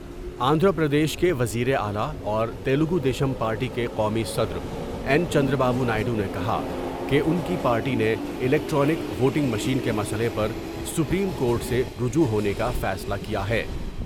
آندھرا پردیش کے وزیراعلی اور تیلگو دیشم پارٹی کے قومی صدر این چند را بابو نائیڈو نے کہا کہ ان کی پارٹی نے الیکٹرانک ووٹنگ مشین کے مسئلے پر سپریم کورٹ سے رجوع ہونے کا فیصلہ کیا ہے ۔